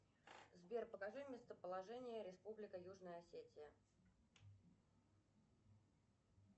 сбер покажи местоположение республика южная осетия